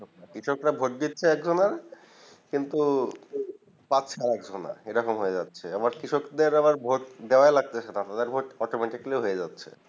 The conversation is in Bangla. কৃষকেরা ভোট দিতে একজনা কিন্তু পাচ্ছে আর একজনা এইরকম হয়ে যাচ্ছে আবার কৃষকদের আবার ভোট দেওয়াই লাগতে তেছেনা কৃষক দেড় ভোট automatically হয়ে যাব্ছে